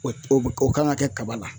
O o o kan ka kɛ kaba la